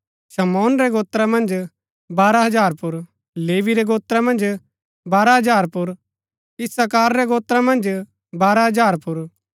शमौन रै गोत्रा मन्ज बारह हजार पुर लेवी रै गोत्रा मन्ज बारह हजार पुर इस्साकार रै गोत्रा मन्ज बारह हजार पुर